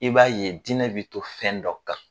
I b'a ye diinɛ bɛ to fɛn dɔ kan.